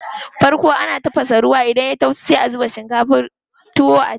Farko ana tafasa ruwa ne, idan yayi zafi sai a saka shinkafar tuwo a ciki.